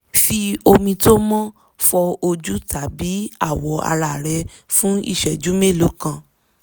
fi omi tó mọ́ fọ ojú tàbí awọ ara rẹ fún ìṣẹ́jú mélòó kan